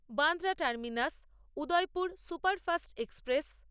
Bandra terminus Udaipur superfast express